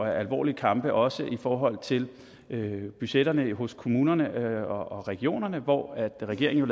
alvorlige kampe også i forhold til budgetterne hos kommunerne og regionerne hvor regeringen